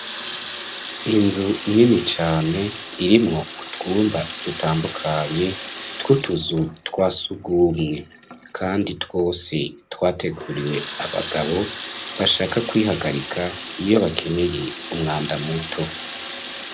Inzu nini cane irimwo utwumba dutandukanye twutuzu twasugumwe, kandi twose twateguriwe abagabo bashaka kwihagarika iyo bakeneye umwanda muto.